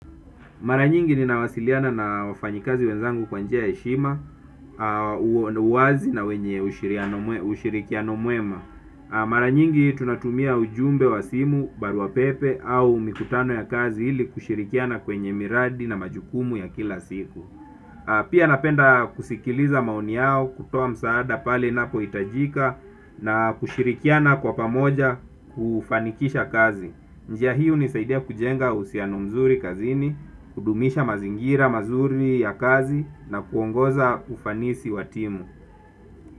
Mara nyingi ninawasiliana na wafanyikazi wenzangu kwa njia ya heshima, uwazi na wenye ushirikiano mwema. Mara nyingi tunatumia ujumbe wa simu, baruapepe au mikutano ya kazi ili kushirikiana kwenye miradi na majukumu ya kila siku. Pia napenda kusikiliza maoni yao, kutoa msaada pale inapohitajika na kushirikiana kwa pamoja kufanikisha kazi. Njia hii hunisaidia kujenga uhusiano mzuri kazini, kudumisha mazingira mazuri ya kazi na kuongoza ufanisi wa timu.